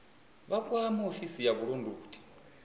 vha kwame ofisi ya vhulondoti